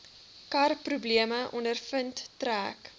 karprobleme ondervind trek